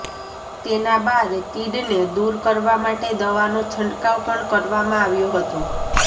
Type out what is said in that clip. તેના બાદ તીડને દૂર કરવા માટે દવાનો છંટકાવ પણ કરવામાં આવ્યો હતો